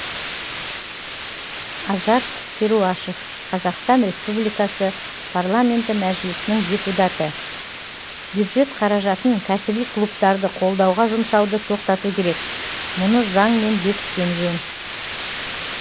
азат перуашев қазақстан республикасы парламенті мәжілісінің депутаты бюджет қаражатын кәсіби клубтарды қолдауға жұмсауды тоқтату керек мұны заңмен бекіткен жөн